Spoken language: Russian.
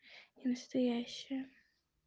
настоящая